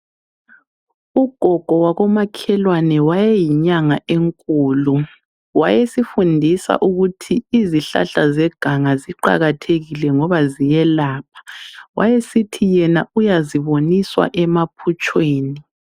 Ugogo wakomakhelwane wayeyinyanga enkulu wayesifundisa ukuthi izihlahla zeganga ziqakathekile ngoba ziyelapha, wayesithi yena uyaziboniswa emaphutshweni.